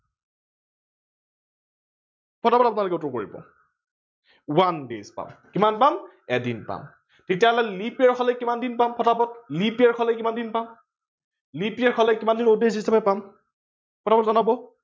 পতা পত এইটো আপোনালোকে কৰি লক। one day পাম কিমান পাম এদিন পাম তেতিয়া leap year হলে কিমান দিন পাম ফতা ফত leap year হলে কিমান দিন পাম, leap year হলে কিমান দিন পাম ফতা ফত জনাব